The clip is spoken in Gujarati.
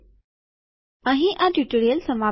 અહીં આ ટ્યુટોરીયલ સમાપ્ત થાય છે